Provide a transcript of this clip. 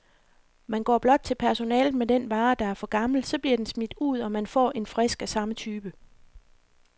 Man går blot til personalet med den vare, der er for gammel, så bliver den smidt ud, og man får en frisk af samme type.